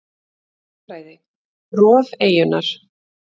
Jarðfræði: Rof eyjunnar.